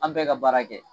An bɛɛ ka baara kɛ